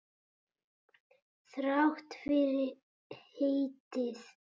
Þrátt fyrir heitið.